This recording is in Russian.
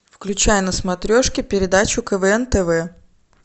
включай на смотрешке передачу квн тв